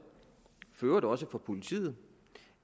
for øvrigt også fra politiet